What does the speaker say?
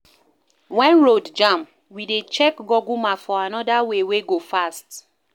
Wen road jam, we dey check Google Maps for anoda way wey go fast.